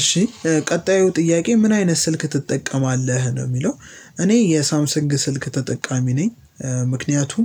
እሺ ቀጣዩ ጥያቄ ምን አይነት ስልክ ትጠቀማለህ ነው የሚለው እኔ የሳምሰንግ ስልክ ተጠቃሚ ነኝ። ምክንያቱም